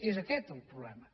és aquest el problema